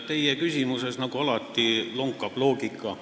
Teie küsimuses, nagu alati, lonkab loogika.